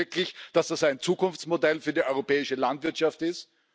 Glauben Sie wirklich, dass das ein Zukunftsmodell für die europäische Landwirtschaft ist?